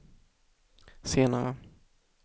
senare